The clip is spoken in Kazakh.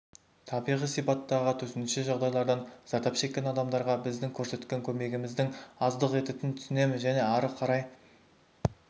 табиғи сипаттағы төтенше жағдайлардан зардап шеккен адамдарғы біздің көрсеткен көмегіміз аздық ететін түсінеміз және ары қарай